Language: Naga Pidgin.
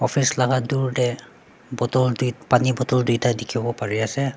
office laka dur de bottle tui pani bottle tuita dikibo pari ase.